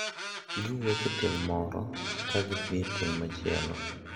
Giwuok e tieng` moro ka gidhi e tieng` machielo.